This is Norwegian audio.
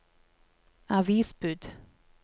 avisbud